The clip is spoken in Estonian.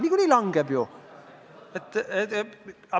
Niikuinii langeb ju!